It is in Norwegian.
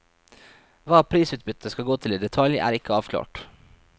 Hva prisutbyttet skal gå til i detalj, er ikke avklart.